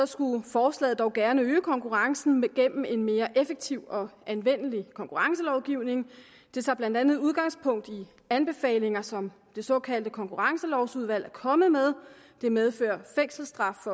skulle forslaget dog gerne øge konkurrencen gennem en mere effektiv og anvendelig konkurrencelovgivning det tager blandt andet udgangspunkt i anbefalinger som det såkaldte konkurrencelovsudvalg er kommet med det medfører fængselsstraf